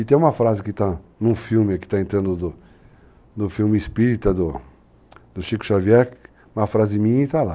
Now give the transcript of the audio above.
E tem uma frase que está num filme, que está entrando no filme Espírita, do Chico Xavier, uma frase minha, e está lá.